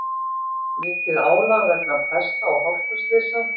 Mikið álag vegna pesta og hálkuslysa